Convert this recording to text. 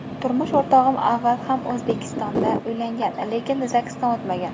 Turmush o‘rtog‘im avval ham O‘zbekistondan uylangan, lekin zagsdan o‘tmagan.